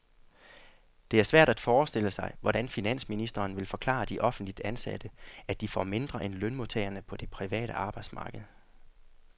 Det er svært at forestille sig, hvordan finansministeren vil forklare de offentligt ansatte, at de får mindre end lønmodtagerne på det private arbejdsmarked.